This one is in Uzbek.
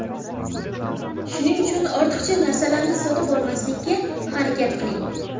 Shuning uchun ortiqcha narsalarni sotib olmaslikka harakat qiling.